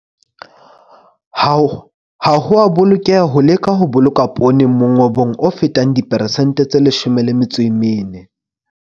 Ha ho a bolokeha ho leka ho boloka poone mongobong o fetang diperesente tse 14.